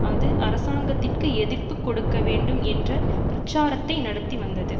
அது அரசாங்கத்திற்கு எதிர்ப்பு கொடுக்க வேண்டும் என்ற பிரச்சாரத்தை நடத்தி வந்தது